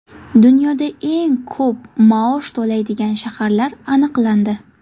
Dunyoda eng ko‘p maosh to‘laydigan shaharlar aniqlandi.